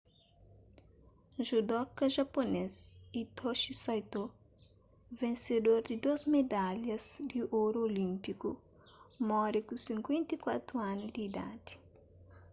judoka japunês hitoshi saito vensedor di dôs medalhas di oru olínpiku móre ku 54 anu di idadi